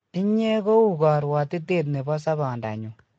inye ko u karwatitet nebo sabonda nyun